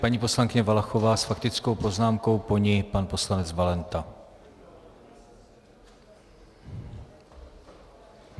Paní poslankyně Valachová s faktickou poznámkou, po ní pan poslanec Valenta.